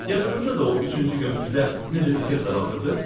Yadınızdadır o üçüncü gün bizə necə diqqətlə baxırdı?